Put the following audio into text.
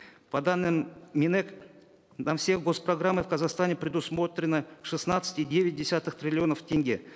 по данным минэк на все госпрограммы в казахстане предусмотрено шестнадцать и девять десятых триллионов тенге